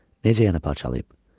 Necə yəni parçalayıb?